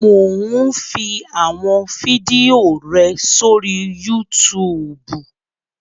Mò ún fi àwọn fídíò rẹ sórí Yútùùbù